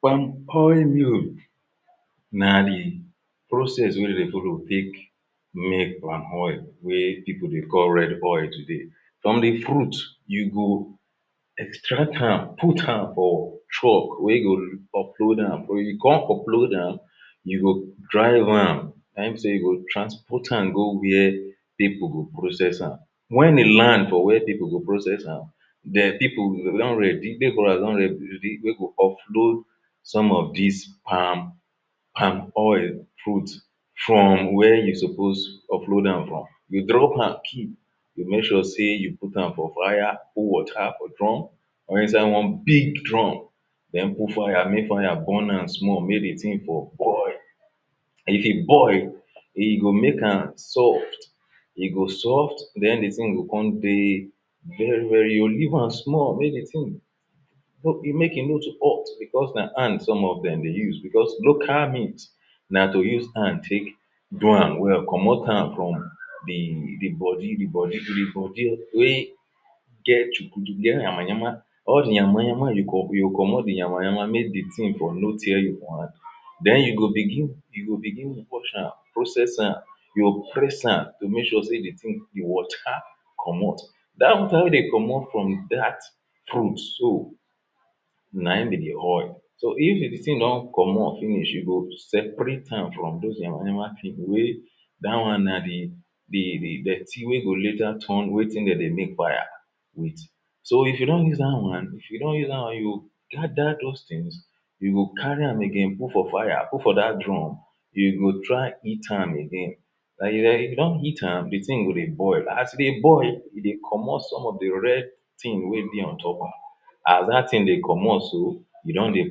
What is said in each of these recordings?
palm oil na the process wey de folow take make palm oil wey people dey call red oil today from the fruit extract am put am for truck wey go upload am, wen you come upload am you go drive am na in be sey you go transport am go where people go process am wen e land for where people go process am de people don ready, labourer don ready wey go offload some of dis palm palm oil fruit from where you suppose offload am from you drop am keep you make sure sey you put am for viral water drum or inside one big drum den put fire mey fire burn am small mey the thing for boil if e oil e go meykam soft e go soft then the thing go come dey very very you go leave am small mey the thing make e no too hot because na hand some of dem dey use because local na to use hand take do am well comot am from the body the body wey get yama-yama all the yama-yama you go, you go comot the yama-yama make the thing for no tear you for hand den you go begin you go begin wash am process am you press am make sure sey the water comot da one wey de comot from dat fruit so nayin be the oil so if the thing don comot finish you go seperate am from the yama-yama peel wey da one na the the, the dirty wey go later turn wetin de dey make fire with so if you don use da one if you don use da one you go gather those things you go carry am again put for fire put for dat drum you go try heat am again if you don heat am the thing go de boil as e de boil e dey comot some of the red thing wey dey on top am as dat thing dey comot so you don dey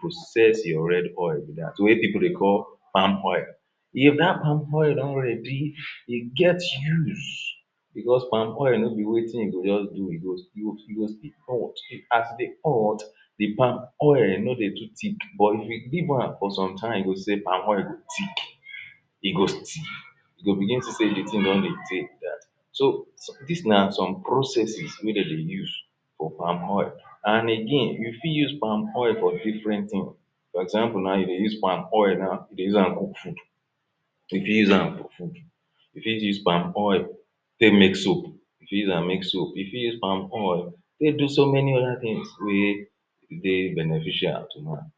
process your red oil be dat wey people dey call palm oil if dat palm oil don ready e get use because palm oil no be wetin you go just do e go e go still hot as e dey hot the palm oil no dey too thick but if you leave am for some time you go see palm oil go thick e go thick e go begin see the thing don dey tey be dat so dis na some processes wey de dey use for palm oil and again you fit use palm oil for different thing for example now, you de use palm oil de use am to dey use am cook food, you fit use am cook, you fit use palm oil take make soap you fit use am make soap you fit use palm oil take do so many other things wey dey beneficial to man